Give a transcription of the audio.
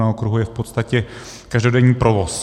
Na okruhu je v podstatě každodenní provoz.